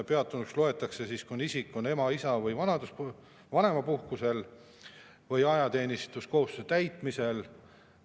Peatunuks loetakse see siis, kui isik on ema‑, isa‑ või vanemapuhkusel või ajateenistuskohustuste täitmise korral.